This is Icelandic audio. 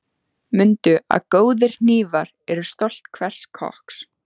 Mundu að góðir hnífar eru stolt hvers kokks.